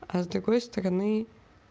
а с другой стороны